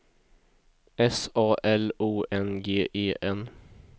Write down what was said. S A L O N G E N